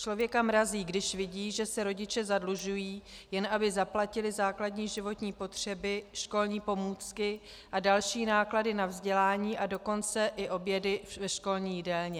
Člověka mrazí, když vidí, že se rodiče zadlužují, jen aby zaplatili základní životní potřeby, školní pomůcky a další náklady na vzdělání, a dokonce i obědy ve školní jídelně.